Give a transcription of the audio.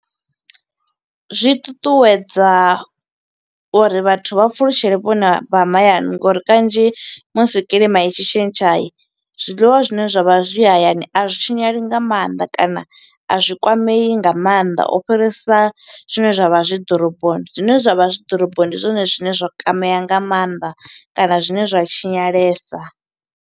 Zwi ṱuṱuwedza uri vhathu vha pfulutshele vhuponi vha mahayani, ngo uri kanzhi musi kiḽima i tshi tshintsha, zwiḽiwa zwine zwa vha zwi hayani a zwi tshinyali nga maanḓa. Kana a zwi kwamei nga mannḓa, u fhirisa zwine zwa vha zwi ḓoroboni, zwine zwa vha zwi ḓoroboni ndi zwone zwine zwa kwamea nga mannḓa, kana zwine zwa tshinyalesa.